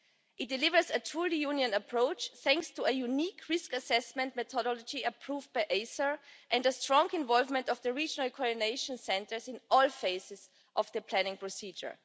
It delivers a truly Union approach thanks to a unique risk assessment methodology approved but ACER and the strong involvement of the regional coordination centres in all phases of the planning procedure.